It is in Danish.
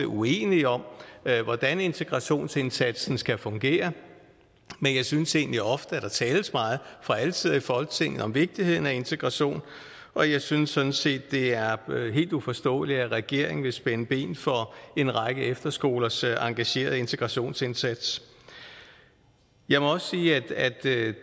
uenige om hvordan integrationsindsatsen skal fungere men jeg synes egentlig ofte at der fra alle sider af folketinget om vigtigheden af integration og jeg synes sådan set det er helt uforståeligt at regeringen vil spænde ben for en række efterskolers engagerede integrationsindsats jeg må også sige at